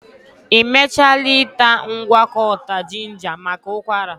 Ị mechaala ịta ngwakọta jinja maka ụkwara?